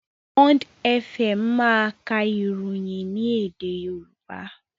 Bond Fm máa ka ìròyìn ní èdè Yorùbá.